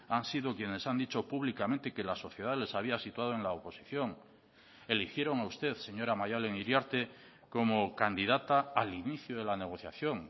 han sido quienes han dicho públicamente que la sociedad les había situado en la oposición la eligieron a usted señora maialen iriarte como candidata al inicio de la negociación